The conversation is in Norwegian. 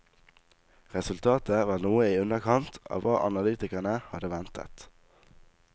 Resultatet var noe i underkant av hva analytikerne hadde ventet.